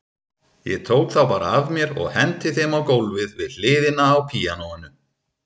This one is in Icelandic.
Ég tók þá bara af mér og henti þeim á gólfið við hliðina á píanóinu.